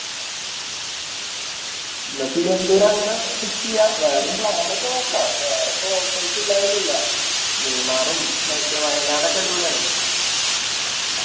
എന്ന തിരുവന്തുരം അങ്ങനെ Fix ചെയ്യാ വേറെയും Plan ഒക്കെ നോക്ക വേറെപ്പോ Options ഇല്ലന്നോന്നുല്ല മൂന്നാറും മറ്റേ വായനാടൊക്കെ അടിപൊളിയാണല്ലോ